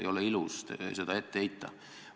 Ei ole ilus seda ette heita.